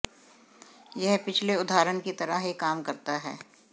यह पिछले उदाहरण की तरह ही काम करता है